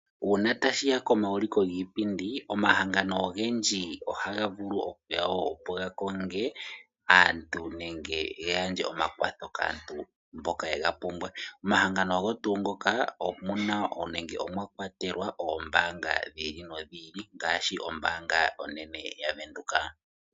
Uuna tashiya komauliko giipindi omahangano ogendji ohagavulu okuya wo opo gakonge aantu nenge yagandje omakwatho kaantu